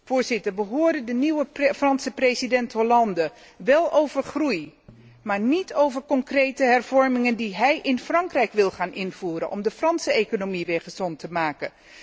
Voorzitter, we hoorden de nieuwe Franse president Hollande wel over groei, maar niet over concrete hervormingen die hij in Frankrijk wil gaan invoeren om de Franse economie weer gezond te maken.